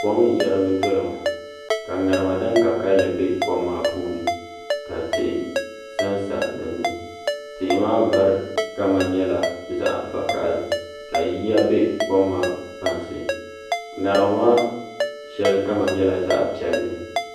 Kom n yɛrigi doya ŋo ka ŋarima din ka kanli bɛ kom maa puuni ka tihi sansa dinni tihi maa vari kama nyɛla zaɣ vakaɣali ka yiya bɛ kom maa kpansi ŋarima maa shɛli kama nyɛla zaɣ piɛlli